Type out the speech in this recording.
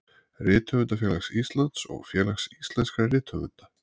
Rithöfundafélags Íslands og Félags íslenskra rithöfunda.